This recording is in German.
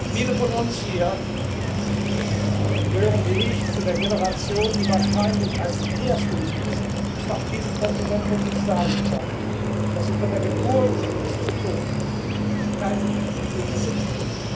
setzen. Viele von uns hier gehören wie ich zu der Generation, die wahrscheinlich als erste auf diesem Kontinent von sich sagen kann, dass sie von der Geburt bis zum Tod keinen Krieg erlebt